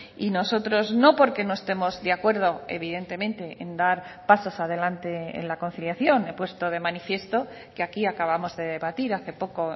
y nosotros no porque no estemos de acuerdo evidentemente en dar pasos adelante en la conciliación he puesto de manifiesto que aquí acabamos de debatir hace poco